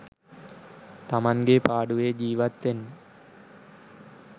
තමන්ගේ පාඩුවේ ජීවත් වෙන්න.